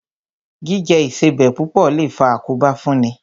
Jíjẹ Ìṣebẹ̀ púpọ̀ lè faa àkóbá fún ni